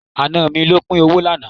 Àna mi ló pín owó lánàá.